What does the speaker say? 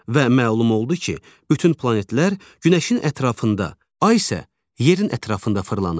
Və məlum oldu ki, bütün planetlər günəşin ətrafında, ay isə yerin ətrafında fırlanır.